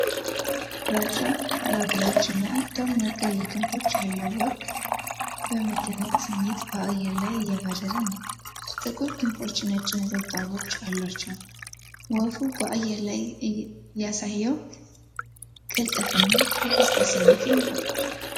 ግራጫ ላባዎች እና ደማቅ ቀይ ክንፎች ያለው ወፍ በመደነቅ ስሜት በአየር ላይ እየበረረ ነው። ጥቁር ክንፎቹ ነጭ ነጠብጣቦች አሏቸው፣ ወፉ በአየር ላይ ያሳየው ቅልጥፍና የደስታ ስሜትን ይፈጥራል።